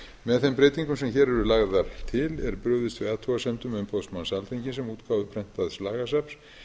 með þeim breytingum sem hér eru lagðar til er brugðist við athugasemdum umboðsmanns alþingis um útgáfu prentaðs lagasafns